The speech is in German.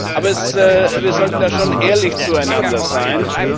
Aber wir sollten da schon ehrlich zueinander sein.